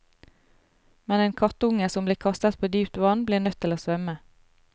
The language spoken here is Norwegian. Men en kattunge som blir kastet på dypt vann, blir nødt til å svømme.